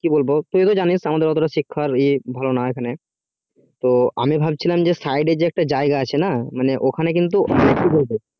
কি বলবো তুই তো জানিস আমাদের শিক্ষা তো এত ভালো নেই তো আমি যে ভাবছিলাম যে side যে একটা জায়গা আছে না মানে তো ওখানে কিন্তু কি বলবো